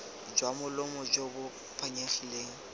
jwa molomo jo bo phanyegileng